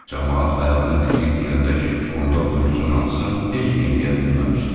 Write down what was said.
Camaat ayağını dirəyib deyəndə ki, onda buyursun atsın, heç nə eləyə bilməmişdi.